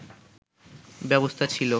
ব্যবস্থা ছিল